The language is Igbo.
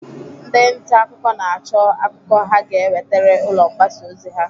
Ndị nta akụkọ na-acho akụkọ ha ga ewetere ụlọ mgbasa ozi ha.